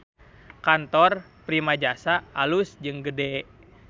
Kantor Primajasa alus jeung gede